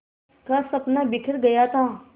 का सपना बिखर गया था